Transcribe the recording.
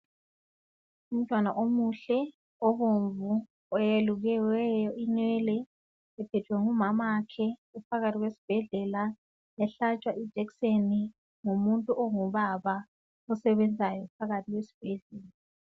Umntwana omuhle obomvu oyelukiweyo inwele ephethwe ngumamakhe uphakathi kwesibhedlela ehlatshwa ijekiseni ngumuntu ongubaba osebenzayo phakathi esibhedlela.